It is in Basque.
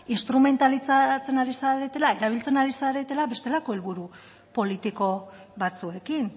instrumentalizatzen ari zaretela erabiltzen ari zaretela bestelako helburu politiko batzuekin